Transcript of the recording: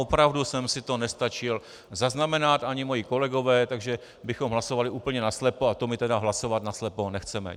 Opravdu jsem si to nestačil zaznamenat, ani moji kolegové, takže bychom hlasovali úplně naslepo a to my tedy hlasovat naslepo nechceme.